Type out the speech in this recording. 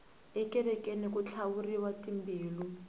ekerekeni ku tlhavuriwa tambilu